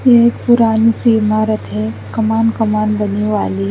ये एक पुरानी सी इमारत है कमान कमान बनने वाली--